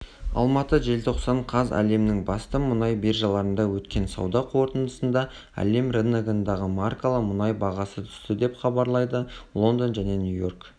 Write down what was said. алматы желтоқсан қаз әлемнің басты мұнай биржаларында өткен сауда қортындысында әлем рыногындағы маркалы мұнай бағасы түсті деп хабарлайды лондон және нью-йорк